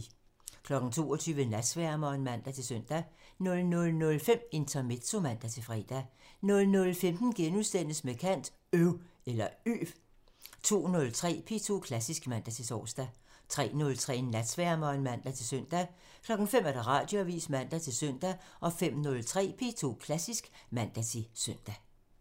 22:00: Natsværmeren (man-søn) 00:05: Intermezzo (man-fre) 00:15: Med kant – Øv * 02:03: P2 Klassisk (man-tor) 03:03: Natsværmeren (man-søn) 05:00: Radioavisen (man-søn) 05:03: P2 Klassisk (man-søn)